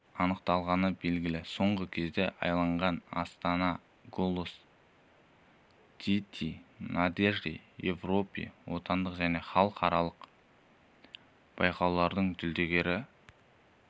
анықталғаны белгілі соңғы кезенде аялаған астана голос діти надежды европы отандық және халықаралық байқаулардың жүлдегері